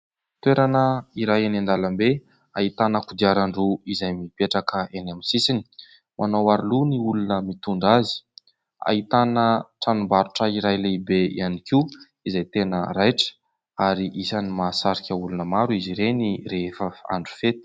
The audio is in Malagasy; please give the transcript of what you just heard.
Toerana iray eny an-dalambe ahitana kodiaran-droa izay mipetraka eny amin'ny sisiny ; manao aro loha ny olona mitondra azy. Ahitana tranom-barotra iray lehibe ihany koa izay tena raitra ary isan'ny mahasarika olona maro izy ireny rehefa andro fety.